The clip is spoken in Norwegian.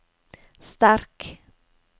sterk